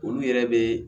Olu yɛrɛ be